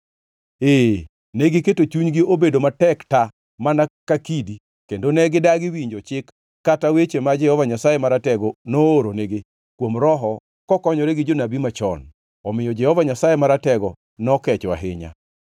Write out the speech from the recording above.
Ee, negiketo chunygi obedo matek ta mana ka kidi, kendo ne gidagi winjo chik kata weche ma Jehova Nyasaye Maratego nooronigi kuom Roho kokonyore gi jonabi machon. Omiyo Jehova Nyasaye Maratego nokecho ahinya.